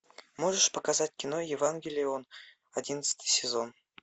можешь показать кино евангелион одиннадцатый сезон